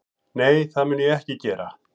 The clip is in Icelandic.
Nei, það mun ég ekki gera